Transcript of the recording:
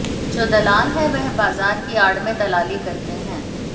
जो दलाल हैं वह बाजार की आड़ में दलाली करते हैं